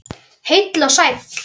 Heill og sæll!